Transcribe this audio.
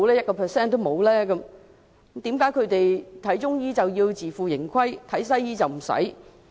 為何市民看中醫需要自負盈虧，看西醫卻不用？